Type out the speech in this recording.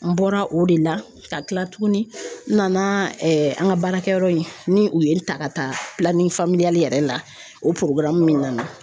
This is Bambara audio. N bɔra o de la ka kila tuguni n nana an ka baarakɛyɔrɔ in, ni u ye n ta ka taa yɛrɛ la o min nana